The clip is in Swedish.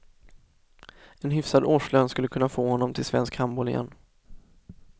En hyfsad årslön skulle kunna få honom till svensk handboll igen.